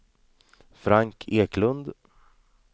Frank Eklund